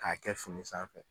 K'a kɛ fini sanfɛ.